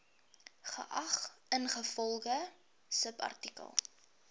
geag ingevolge subartikel